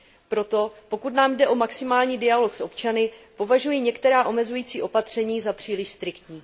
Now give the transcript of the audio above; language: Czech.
Proto, pokud nám jde o maximální dialog s občany, považuji některá omezující opatření za příliš striktní.